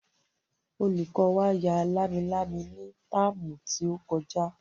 Olùkọ́ wa ya lámilámi ní táàmù tí ó kọjá